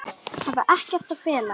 Hafa ekkert að fela.